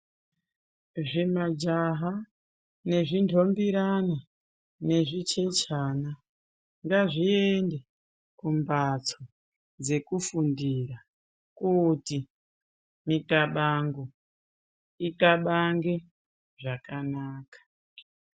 Zvima jaha nezvindombiyana nezvichechana ngazviende kumbatso dzekufundira kuti muxabango ixabange zvakanaka.